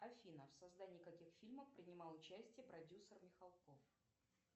афина в создании каких фильмов принимал участие продюсер михалков